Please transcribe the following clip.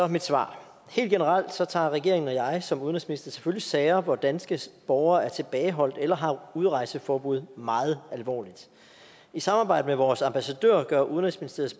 mit svar helt generelt tager tager regeringen og jeg som udenrigsminister selvfølgelig sager hvor danske borgere er tilbageholdt eller har udrejseforbud meget alvorligt i samarbejde med vores ambassadører gør udenrigsministeriets